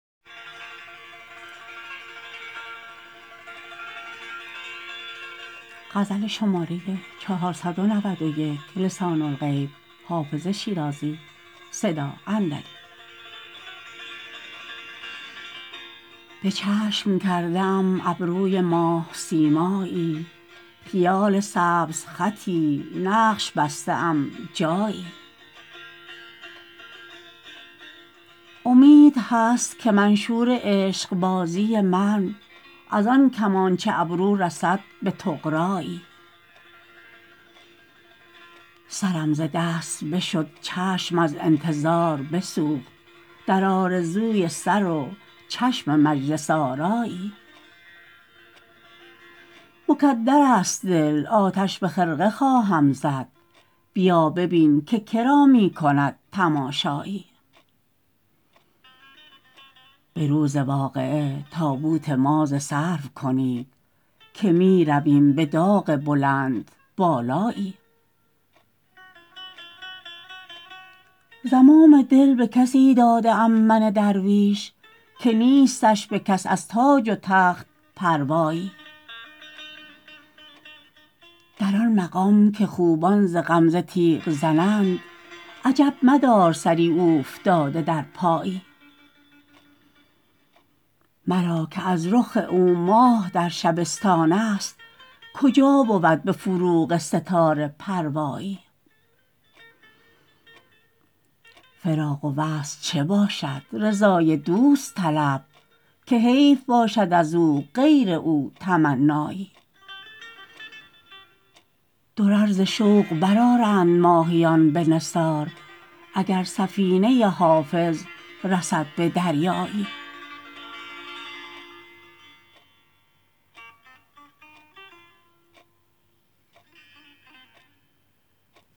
به چشم کرده ام ابروی ماه سیمایی خیال سبزخطی نقش بسته ام جایی امید هست که منشور عشق بازی من از آن کمانچه ابرو رسد به طغرایی سرم ز دست بشد چشم از انتظار بسوخت در آرزوی سر و چشم مجلس آرایی مکدر است دل آتش به خرقه خواهم زد بیا ببین که کرا می کند تماشایی به روز واقعه تابوت ما ز سرو کنید که می رویم به داغ بلندبالایی زمام دل به کسی داده ام من درویش که نیستش به کس از تاج و تخت پروایی در آن مقام که خوبان ز غمزه تیغ زنند عجب مدار سری اوفتاده در پایی مرا که از رخ او ماه در شبستان است کجا بود به فروغ ستاره پروایی فراق و وصل چه باشد رضای دوست طلب که حیف باشد از او غیر او تمنایی درر ز شوق برآرند ماهیان به نثار اگر سفینه حافظ رسد به دریایی